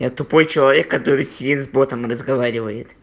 я тупой человек который сидит с ботом разговаривает